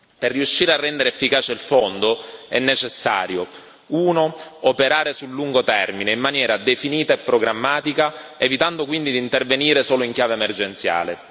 Per riuscire a rendere efficace il Fondo è necessario 1 operare sul lungo termine in maniera definita e programmatica, evitando quindi di intervenire solo in chiave emergenziale